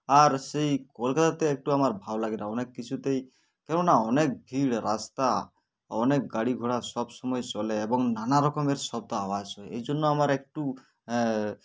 আর সেই কলকাতাতে একটুও আমার ভালো লাগেনা অনেক কিছুতেই কেননা অনেক ভিড় রাস্তা অনেক গাড়ি ঘোড়া সবসময় চলে এবং নানারকমের শব্দ আওয়াজ হয় এই জন্য আমার একটু আ